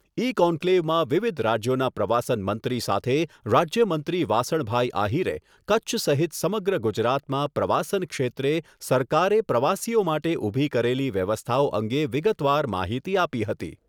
ઇ કોન્કલેવમાં વિવિધ રાજ્યોના પ્રવાસન મંત્રી સાથે રાજ્યમંત્રી વાસણભાઈ આહિરે કચ્છ સહિત સમગ્ર ગુજરાતમાં પ્રવાસન ક્ષેત્રે સરકારે પ્રવાસીઓ માટે ઊભી કરેલી વ્યવસ્થાઓ અંગે વિગતવાર માહિતી આપી હતી.